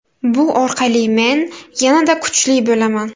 Bu orqali men yanada kuchli bo‘laman.